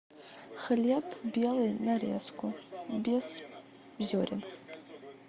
хлеб белый нарезку без зерен